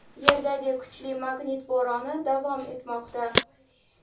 Yerdagi kuchli magnit bo‘roni davom etmoqda.